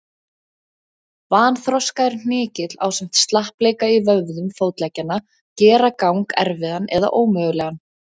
Vanþroskaður hnykill ásamt slappleika í vöðvum fótleggjanna gera gang erfiðan eða ómögulegan.